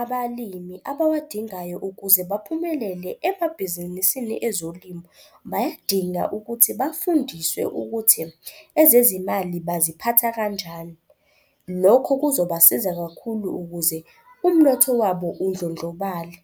abalimi abawadingayo ukuze baphumelele emabhizinisini ezolimo. Bayadinga ukuthi bafundiswe ukuthi ezezimali baziphatha kanjani. Lokho kuzobasiza kakhulu ukuze umnotho wabo undlondlobale.